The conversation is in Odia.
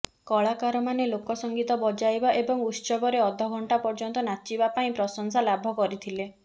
କଳାକାରମାନେ ଲୋକ ସଂଗୀତ ବଜାଇବା ଏବଂ ଉତ୍ସବରେ ଅଧ ଘଣ୍ଟା ପର୍ଯ୍ୟନ୍ତ ନାଚିବା ପାଇଁ ପ୍ରଶଂସା ଲାଭ କରିଥିଲେ